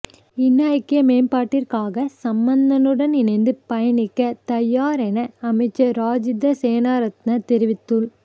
இன ஐக்கிய மேம்பாட்டிற்காக சம்பந்தனுடன் இணைத்து பயணிக்க தயார் என அமைச்சர் ராஜித சேனாரத்ன தெரிவித்துள்